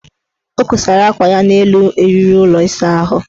O kosara akwa ya n' elu eriri ụlọ ịsaahụ.